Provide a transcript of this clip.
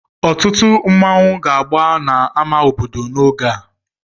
Ọtụtụ nmanwu ga-agba na ama obodo n'oge a.